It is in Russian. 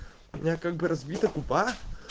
у меня как бы разбита губа